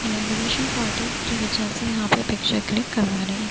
inauguration party की वजह से यहाँ पे पिक्चर क्लिक करवाने एक --